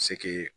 Se ke